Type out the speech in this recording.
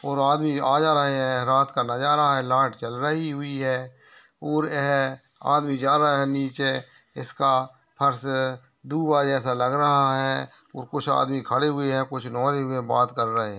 और आदमी आ जा रहे हैं। रात का नजारा है। लाईट जल रही हुई है और एह आदमी जा रहा है। नीचे इसका फर्श दूबा जैसा लग रहा है और कुछ आदमी खड़े हुए हैं। कुछ में बात करे रहे --